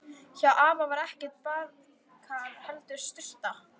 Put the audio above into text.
Hjá afa var ekkert baðkar, heldur sturta.